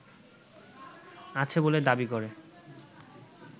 আছে বলে দাবি করে